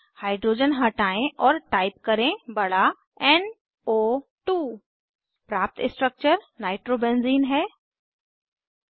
hydrogen हटायें और type करें बड़ा एन ओ 2 प्राप्त स्ट्रक्चर नाइट्रोबेंजीन नाइट्रो बेंज़ीन है